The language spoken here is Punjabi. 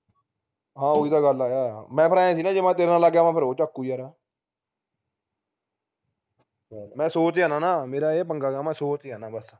ਹਾਂ ਓਹੀ ਤਾ ਗੱਲ ਹੈ ਮੈਂ ਫੇਰ ਆਂਏ ਸੀ ਨਾ ਜੇ ਮੈਂ ਤੇਰੇ ਨਾਲ ਲਗ ਗਿਆ ਫੇਰ ਉਹ ਝੱਕੂ ਯਾਰ ਮੈਂ ਸੋਚ ਕੇ ਆਣਾ ਨਾ ਮੇਰਾ ਇਹ ਪੰਗਾ ਹੈ ਮੈਂ ਸੋਚ ਆਣਾ ਬਸ